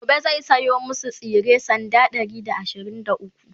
gobe zai saya masu tsire sanda Ɗari da ashirin da ukwu